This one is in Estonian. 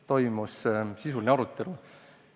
Toimus sisuline arutelu.